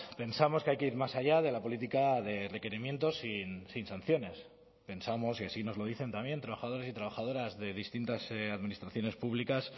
pensamos que hay que ir más allá de la política de requerimientos sin sanciones pensamos y así nos lo dicen también trabajadores y trabajadoras de distintas administraciones públicas